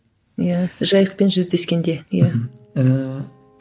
иә жайықпен жүздескенде иә мхм ііі